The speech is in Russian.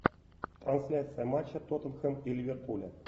трансляция матча тоттенхэм и ливерпуля